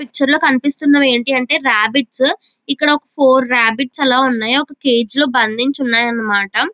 Picture లో కనిపిస్తున్న ఏమిటంటే రబ్బిట్స్ ఇక్కడ ఒక ఫోర్ రబ్బిట్స్ ఆలా ఉన్నాయ్ ఒక కేజ్ లో బందించి ఉన్నాయ్ అన్నమాట.